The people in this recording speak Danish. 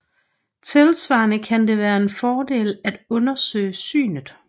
Tilsvarende kan det være en fordel at undersøge synet